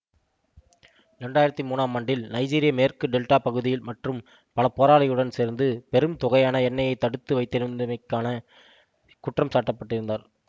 இரண்டு ஆயிரத்தி மூன்னாம் ஆண்டில் நைஜீரிய மேற்கு டெல்டா பகுதியில் மற்றும் பல போராளிகளுடன் சேர்ந்து பெரும் தொகையான எண்ணெயைத் தடுத்து வைத்திருந்தமைக்கான குற்றம் சாட்டப்பட்டிருந்தார்